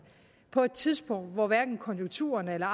på et tidspunkt hvor hverken konjunkturerne eller